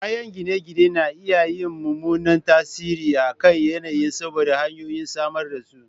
Kayan gine-gine na iya yin mummunan tasiri a kan yanayin saboda hanyoyin samar da su